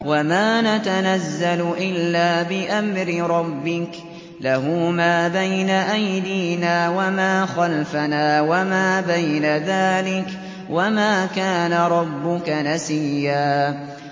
وَمَا نَتَنَزَّلُ إِلَّا بِأَمْرِ رَبِّكَ ۖ لَهُ مَا بَيْنَ أَيْدِينَا وَمَا خَلْفَنَا وَمَا بَيْنَ ذَٰلِكَ ۚ وَمَا كَانَ رَبُّكَ نَسِيًّا